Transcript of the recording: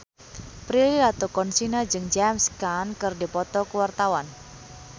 Prilly Latuconsina jeung James Caan keur dipoto ku wartawan